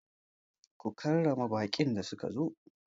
Ku karrama baƙin da suka zo!